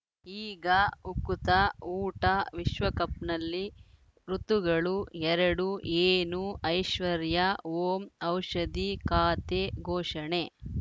ಈಗ ಉಕುತ ಊಟ ವಿಶ್ವಕಪ್‌ನಲ್ಲಿ ಋತುಗಳು ಎರಡು ಏನು ಐಶ್ವರ್ಯಾ ಓಂ ಔಷಧಿ ಖಾತೆ ಘೋಷಣೆ